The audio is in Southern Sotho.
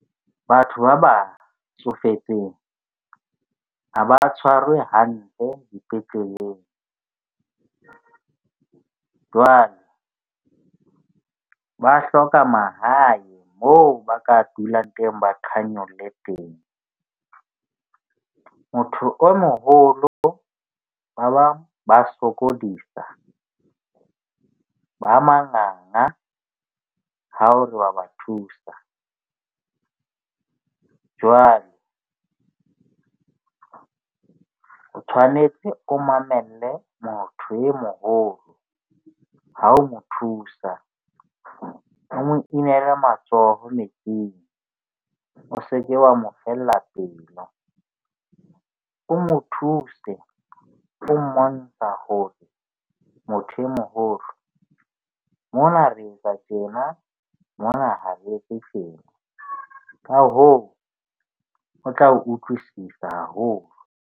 Batho ba ba tsofetseng ha ba tshwarwe hantle dipetleleng jwale ba hloka mahae. Moo ba ka dulang teng ba qhanolle teng. Motho o moholo ba bang ba sokodisa, ba manganga ha o re wa ba thusa. Jwale, o tshwanetse o mamelle motho o moholo ha o mo thusa, o mo inele matsoho metsing. O se ke wa mo fella pelo. O mo thuse, o mmontsha hore motho o moholo mona re etsa tjena mona ha re etse tjena. Ka hoo, o tla o utlwisisa haholo.